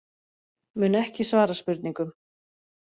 Mun ekki svara spurningum